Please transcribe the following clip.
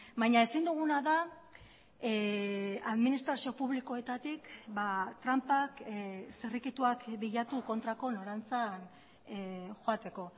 baina ezin duguna da administrazio publikoetatik tranpak zirrikituak bilatu kontrako norantzan joateko